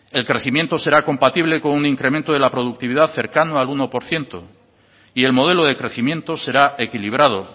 el crecimiento será compatible con un incremento de la productividad cercano al uno por ciento y el modelo de crecimiento será equilibrado